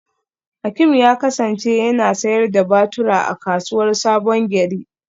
Hakim ya kasance yana sayar da batura a kasuwar sabongeri.